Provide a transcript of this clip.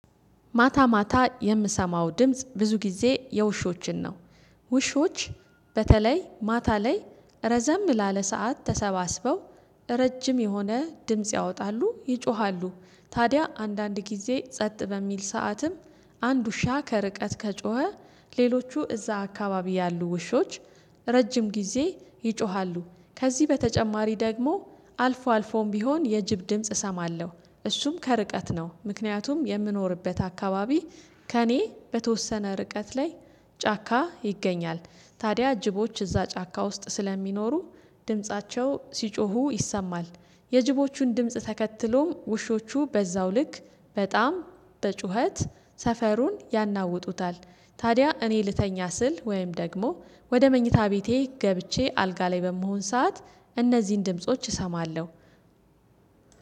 ማታ ማታ የምሰማው ድምጽ ብዙ ጊዜ የውሾችን ነው። ውሾች በተለይ ማታ ላይ ረዘም ላለ ሰዓት ተሰባስበው ረጅም የሆነ ድምጽ ያወጣሉ ይጮሃሉ ታዲያ አንዳንድ ጊዜ ጸጥ በሚል ሰዓትም አንድ ውሻ ከርቀት ከጮኸ ሌሎቹ እዛ አካባቢ ያሉ ውሾች ረጅም ጊዜ ይጮሃሉ ከዚህ በተጨማሪ ደግሞ አልፎም ቢሆን የጅብ ድምጽ እሰማለሁ እሱም ከርቀት ነው ምክንያቱም የምኖርበት አካባቢ ከእኔ በተወሰነ ርቀት ላይ ጫካ ይገኛል። ታዲያ ጅቦች እዛ ጫካ ውስጥ ስለሚኖሩ ድምፃቸው ሲጮሁ ይሰማል። የጅቦቹን ድምጽ ተከትሎ ውሾቹ በዛው ልክ በጣም በጩኸት ሰፈሩን ያናውጡታል። ታዲያ እኔ ልተኛ ስል ወይም ደግሞ ወደ መኝታ ቤቴ ገብቼ አልጋ ላይ በምሆን ሰዓት እነዚህን ድምጾች እሰማለሁ።